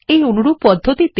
এই অনুরূপ পদ্ধতিতে